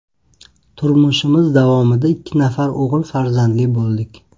Turmushimiz davomida ikki nafar o‘g‘il farzandli bo‘ldik.